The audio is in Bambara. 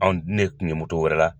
Anw dun ne kun ye moto wɛrɛ la